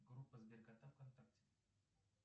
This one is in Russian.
группа сберкота вконтакте